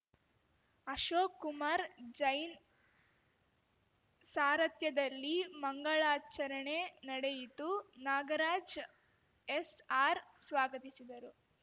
ಅಶೋಕ್ ಕುಮಾರ್‌ ಜೈನ್‌ ಸಾರಥ್ಯದಲ್ಲಿ ಮಂಗಳಾಚರಣೆ ನಡೆಯಿತು ನಾಗರಾಜ್ ಎಸ್‌ಆರ್‌ ಸ್ವಾಗತಿಸಿದರು